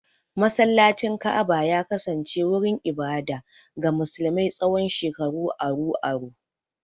Masallacin Ka'aba ya kasance wurin ibada ga musulmi tsawon shekaru aru-aru.